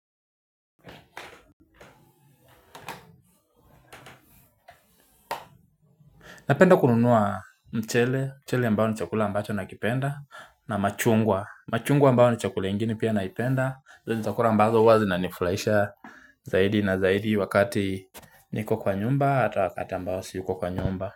Napenda kununua mchele, mchele ambao ni chakula ambacho nakipenda. Na machungwa, machungwa ambayo ni chakula ingine pia naipenda hizo ni chakula ambazo huwa zinanifulaisha. Zaidi na zaidi wakati niko kwa nyumba ata wakati ambao si yuko kwa nyumba.